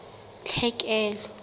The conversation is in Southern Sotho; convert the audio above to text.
tlhekelo